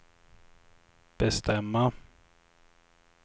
bestämma